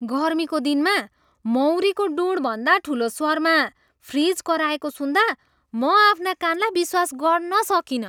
गर्मीको दिनमा मौरीको ढुँडभन्दा ठुलो स्वरमा फ्रिज कराएको सुन्दा म आफ्ना कानलाई विश्वास गर्न सकिनँ!